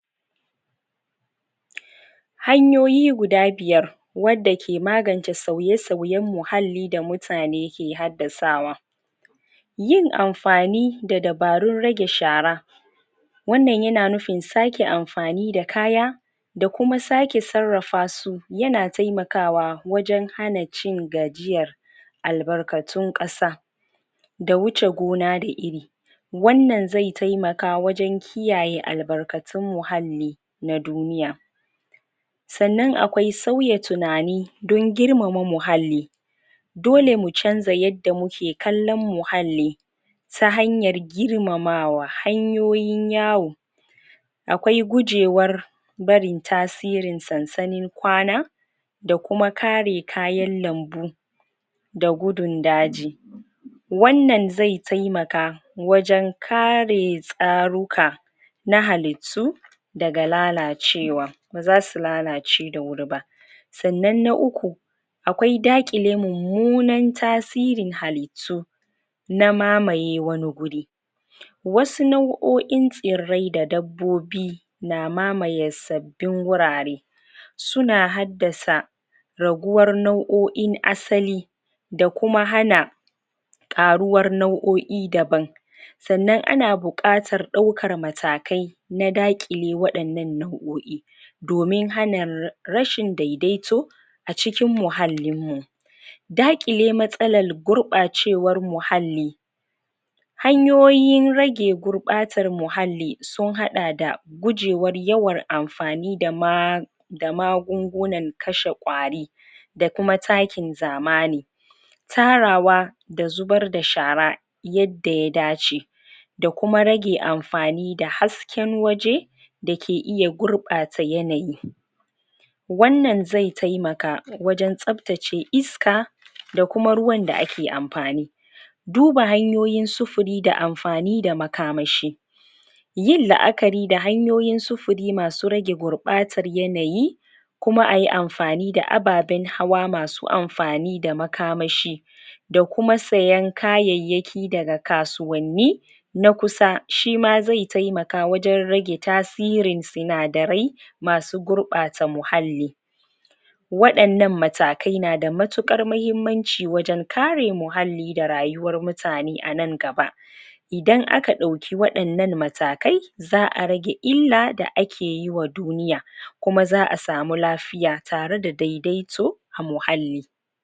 hanyoyi guda biyar wanda ke magance sauye sauyen muhalli da mutane ke haddasawa yin amfani da dabarun rage shara wannan yana nufin sake amfani da kaya da kuma sake sarrafasu yana taimakwa wajen hana cin gajiyar albarkatun kasa da wuce gona da iri wannan zai taimaka wajen kiyaye albarkatun muhalli na duniya sannnan akwai sauya tunani don girmama muhalli dole mu chanza yadda muke kallon muhalli ta hanyar girmamawa hanyoyin yawo akwai gujewar barin tasirin sansannin kwana dakuma kare kayan lambu da gudun daji wannan zai taimaka wajen kare tsaruka na halittu daga lalacewa baza su lalace da wuri ba sannan na uku akwai daqile mummunan tasirin halittu na mamaye wani wuri wasu nau'oin tsirrai da dabbobi na mamaye sab bbin wurare suna haddasa raguwar na'oin asali da kuma hana karuwar nau'oi daban sannan ana bukatar daur=kan matakai na dakile wa'ennan nau'oi domin hana rashin daidaito a cikin muhallin mu daqile matsalar gurbacewar muhalli hanyoyin rage gurbatan muhalli sun hada da gujewar yawan amfani da ma da magungunan kashe kwari da kuma takin zamani tarawa da zubar da shara yadda ya dace da kuma rage amfani da hasken waje da ke iya gurbata yanayi wannan zai taimaka wajen tsabtace iska da kuma ruwan da ake amfani duba hanyoyin sufuri da amfani da makamashi yin laakari da hanyoyin sufuri masu rage gurbatan yanayi kuma ayi amfani da ababen hawa masu amfani da makamashi da kuma sayen kayayyaki daga kasuwanni na kusa shima zai taimaka wajen rage ta sirin sinadarai masu gurbata muhalli wadannan matakai na da matukar mahimmanci wajen kare muhalli da rayuwar mutane anan gaba idan aka dauki wadannan matakai zaa rage illa da ake yi wa duniya kuma zaa samu lafiy atare da daidaito a muhalli